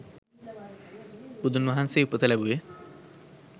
බුදුන්වහන්සේ උපත ලැබුවේ